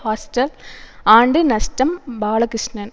hostel ஆண்டு நஷ்டம் பாலகிருஷ்ணன்